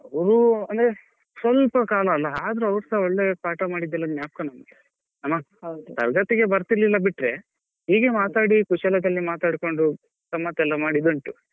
ಅವ್ರು ಅಂದ್ರೆ ಸ್ವಲ್ಪ ಕಾಲ ಅಲ್ಲ ಆದ್ರು ಅವರ್ಸಾ ಒಳ್ಳೆ ಪಾಠ ಮಾಡಿದೆಲ್ಲ ಜ್ಞಾಪಕ ನಮ್ಗೆ ತರಗತಿಗೆ ಬರ್ತಿಲ್ಲ ಬಿಟ್ರೆ ಹೀಗೆ ಮಾತಾಡಿ ಕುಶಲದಲ್ಲಿ ಮಾತಾಡ್ಕೊಂಡು ಗಮ್ಮತೆಲ್ಲಾ ಮಾಡಿದುಂಟು.